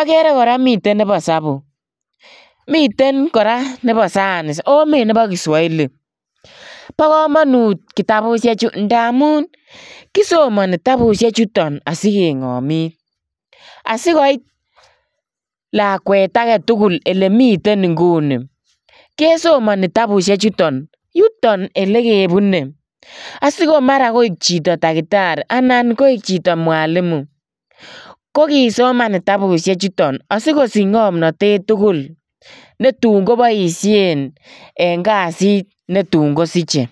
agere kora minebo isabu. Miten kora nebo sayans ago mi nebo kiswahili. Bo kamanut tabusiechu ngamun kisomani kitabusiechuton asikengomit. Asikoit lakwet age tugul elemiten inguni kesomani tabusiechuton. Yuton elekebune asigomara koik chito takitari anan koik chito mwalimu. Kokisoman asikosich ngomnatet tugul netun koboisien en kasit netun kosiche.